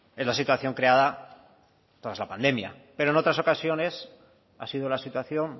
es la situación creada tras la pandemia pero en otras ocasiones ha sido la situación